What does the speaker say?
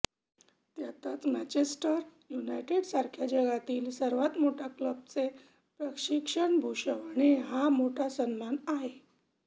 त्यातच मॅँचेस्टर युनायटेडसारख्या जगातील सर्वात मोठय़ा क्लबचे प्रशिक्षकपद भूषवणे हा मोठा सन्मान आहे